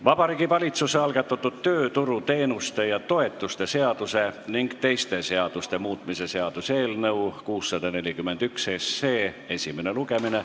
Vabariigi Valitsuse algatatud tööturuteenuste ja -toetuste seaduse ning teiste seaduste muutmise seaduse eelnõu 641 esimene lugemine.